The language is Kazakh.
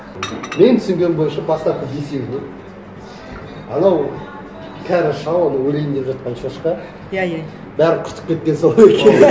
менің түсінгенім бойынша бастапқы бесеуіне анау кәрі шал анау өлейін деп жатқан шошқа иә иә бәрін құртып кеткен сол екеуі